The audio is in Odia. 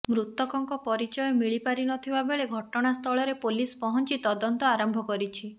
ମୃତକଙ୍କ ପରିଚୟ ମିଳି ପାରିନଥିବା ବେଳେ ଘଟଣାସ୍ଥଳରେ ପୋଲିସ ପହଞ୍ଚି ତଦନ୍ତ ଆରମ୍ଭ କରିଛି